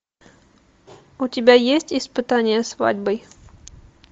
у тебя есть испытание свадьбой